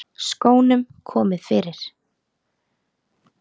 Skónum komið fyrir?